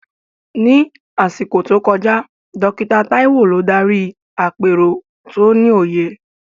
Ní àsìkò tó kọjá, Dókítà Taiwo ló darí àpérò tó ní òye.